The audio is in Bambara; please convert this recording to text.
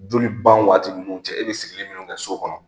Joli ban waati ninnu cɛ e bɛ sigilen minnu kɛ so kɔnɔ